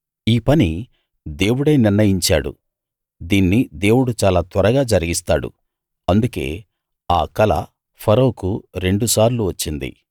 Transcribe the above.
ఈ పని దేవుడే నిర్ణయించాడు దీన్ని దేవుడు చాలా త్వరగా జరిగిస్తాడు అందుకే ఆ కల ఫరోకు రెండుసార్లు వచ్చింది